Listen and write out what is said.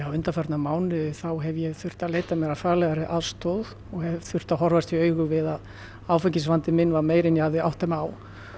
undanfarna mánuði þá hef ég þurft að leita mér að faglegri aðstoð og þurft að horfast í augu við að áfengisvandi minn var meiri en ég hafði áttað mig á